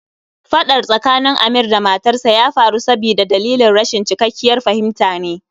Fadar tsakanin Amir da matarsa ya faru sabida dalilin rashin cikakkiyar fahimta ne